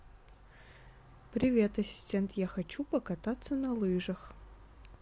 привет ассистент я хочу покататься на лыжах